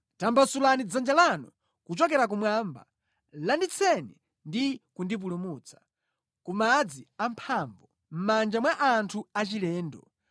Tambasulani dzanja lanu kuchokera kumwamba; landitseni ndi kundipulumutsa, ku madzi amphamvu, mʼmanja mwa anthu achilendo,